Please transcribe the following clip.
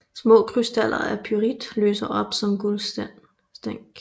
Små krystaller af pyrit lyser op som guldstænk